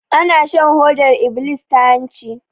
Ana shan hodar iblis ta hanci